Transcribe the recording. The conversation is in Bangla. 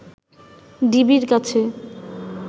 ডিবির কাছে